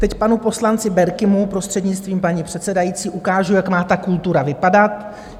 Teď panu poslanci Berkimu, prostřednictvím paní předsedající, ukážu, jak má ta kultura vypadat.